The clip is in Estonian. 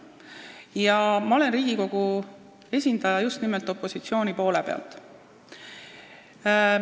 Ja ma olen Riigikogu esindaja just nimelt opositsiooni poole pealt.